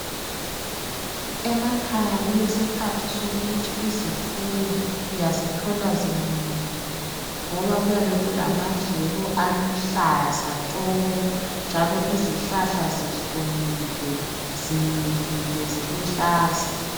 Emakhaya kulesikhathi sokuthi izifuyo uyazithola zinonile, ngoba kuyabe kulamadlelo aluhlaza tshoko njalo izihlahla zihlumile, zimilile ziluhlaza.